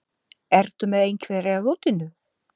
Ertu með einhverja rútínu?